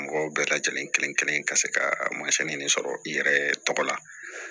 Mɔgɔw bɛɛ lajɛlen kelen kelen ka se ka sɔrɔ i yɛrɛ tɔgɔ la